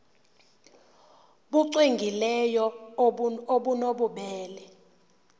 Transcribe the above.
nbu cwengileyo obunobubele